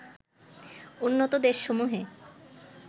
উন্নত দেশসমূহে